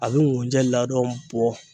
A be ŋujɛ ladɔn bɔ